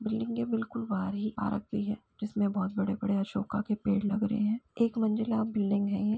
Building के बिल्कुल बाहर ही पार्क है जिसमें बहोत बड़े बड़े अशोका के पेड़ लगे हुए रहे हैं । एक मंजिला बिल्डिंग है ।